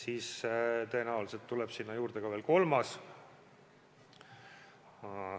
Ning tõenäoliselt tuleb sinna juurde ka veel kolmas.